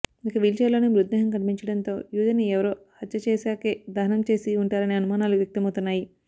ఇక వీల్ఛైర్లోనే మృతదేహం కనిపించడంతో యువతిని ఎవరో హత్య చేశాకే దహనం చేసి ఉంటారనే అనుమానాలు వ్యక్తమవుతున్నాయి